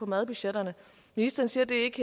madbudgetterne ministeren siger at det ikke